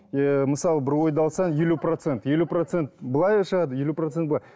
ы мысалы бір ойды алсаң елу процент елу процент былай да шығады елу процент былай